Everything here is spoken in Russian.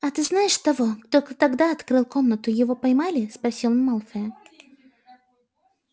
а ты знаешь того кто тогда открыл комнату его поймали спросил он малфоя